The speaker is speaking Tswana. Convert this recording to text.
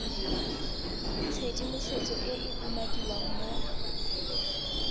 tshedimosetso e e umakiwang mo